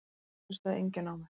Hér hlustaði enginn á mig.